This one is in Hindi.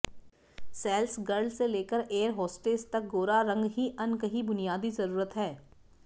सेल्स गर्ल से लेकर एअर होस्टेस तक गोरा रंग ही अनकही बुनियादी जरूरत है